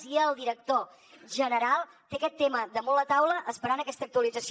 i el director general té aquest tema damunt la taula esperant aquesta actualització